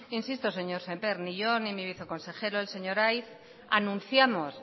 bien insisto señor semper ni yo ni mi viceconsejero el señor aiz anunciamos